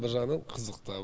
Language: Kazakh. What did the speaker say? бір жағынан қызық та